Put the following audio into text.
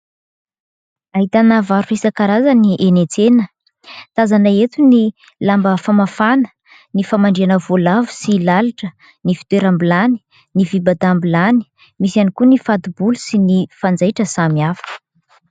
Ahitana varotra isan-karazany enỳ an-tsena. Tazana eto ny lamba famafana, ny famandrihana voalavo sy lalitra, ny fitoeram-bilany, ny fibatam-bilany misy ihany koa ny fati-bolo sy ny fanjaitra samihafa.